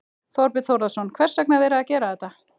Þorbjörn Þórðarson: Hvers vegna er verið að gera þetta?